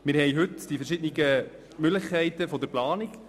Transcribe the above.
Wir haben heute die verschiedenen Möglichkeiten der Planung.